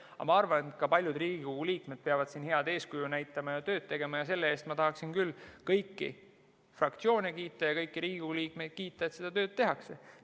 Aga ma arvan, et ka Riigikogu liikmed peavad siin head eeskuju näitama ja tööd tegema, ning selle eest ma tahaksin küll kõiki fraktsioone ja kõiki Riigikogu liikmeid kiita, et seda tööd tehakse.